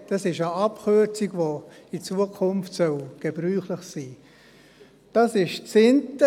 Das ist die Abkürzung, die in Zukunft gebräuchlich sein soll.